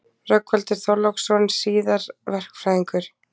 Rögnvaldur Þorláksson, síðar verkfræðingur.